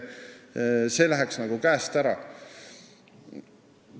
Asi läheks käest ära.